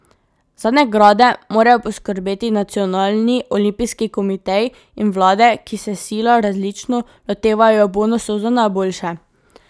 Za nagrade morajo poskrbeti nacionalni olimpijski komiteji in vlade, ki se sila različno lotevajo bonusov za najboljše.